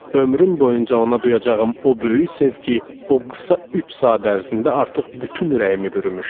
Ömrüm boyunca ona duyacağım o böyük sevgi, o qısa üç saat ərzində artıq bütün ürəyimi bürümüşdü.